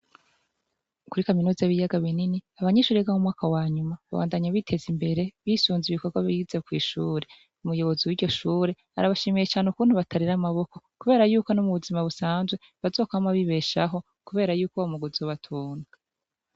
Kuri kaminuza y'ibiyaga binini abanyeshure biga mu mwaka wa nyuma babandanya biteza imbere bisunze ibikorwa bize kwishure. Umuyobozi w'iryo shure arabashimiye cane ukuntu batarera amaboko kubera yuko no mu buzima busanzwe bazokwama bibeshaho kubera yuko uyo mwuga uzobatunga.